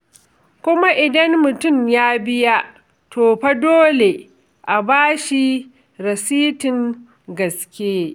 Kuma idan mutum ya biya, to fa dole a ba shi rasitin gaske.